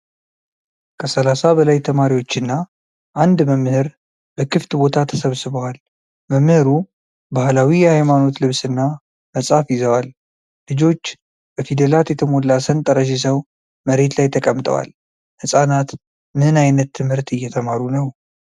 ከሠላሳ በላይ ተማሪዎችና አንድ መምህር በክፍት ቦታ ተሰብስበዋል። መምህሩ ባህላዊ የሃይማኖት ልብስና መጽሐፍ ይዘዋል። ልጆች በፊደላት የተሞላ ሰንጠረዥ ይዘው መሬት ላይ ተቀምጠዋል። ህፃናት ምን ዓይነት ትምህርት እየተማሩ ነው?